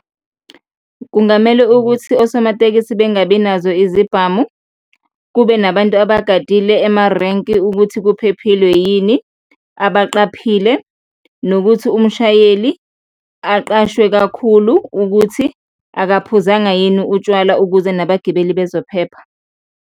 Kungamele ukuthi osomatekisi bengabi nazo izibhamu, kube nabantu abagadile emarenki ukuthi kuphephile yini, abaqaphile nokuthi umshayeli aqashwe kakhulu ukuthi akaphuzanga yini utshwala ukuze nabagibeli bezophepha.